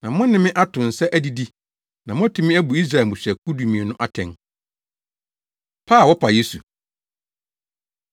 Na mo ne me ato nsa adidi, na moatumi abu Israel mmusuakuw dumien no atɛn.” Pa A Wɔpa Yesu